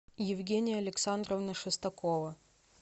евгения александровна шестакова